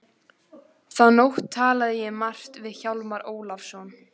Þá nótt talaði ég margt við Hjálmar Ólafsson.